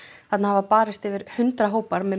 þarna hafa barist yfir hundrað hópar með